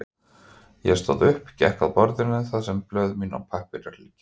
Ég stóð upp, gekk að borðinu þar sem blöð mín og pappírar liggja.